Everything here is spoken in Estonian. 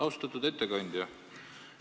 Austatud ettekandja!